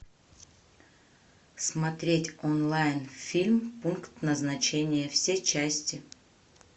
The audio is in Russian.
смотреть онлайн фильм пункт назначения все части